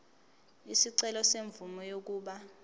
isicelo semvume yokuba